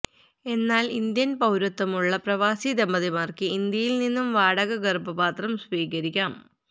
എന്നാല് ഇന്ത്യന് പൌരത്വമുള്ള പ്രവാസി ദമ്പതിമാര്ക്ക് ഇന്ത്യയില്നിന്ന് വാടക ഗര്ഭപാത്രം സ്വീകരിക്കാം